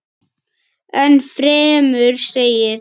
Enn fremur segir.